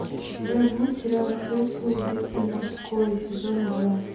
у тебя будет сериал хэтфилды и маккои сезон два